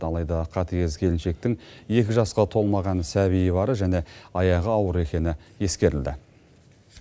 алайда қатыгез келіншектің екі жасқа толмаған сәбиі бары және аяғы ауыр екені ескерілді